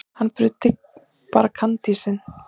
Hann bruddi bara kandísinn.